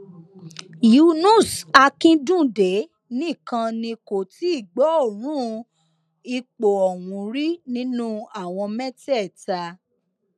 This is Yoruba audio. yunus akínńdúndé nìkan ni kò tí ì gbọọọrùn ipò ọhún rí nínú àwọn mẹtẹẹta